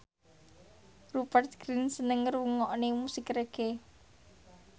Rupert Grin seneng ngrungokne musik reggae